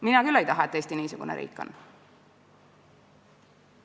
Mina küll ei taha, et Eesti niisugune riik oleks.